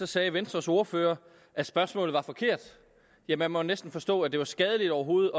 sagde venstres ordfører at spørgsmålet var forkert ja man måtte næsten forstå at det var skadeligt overhovedet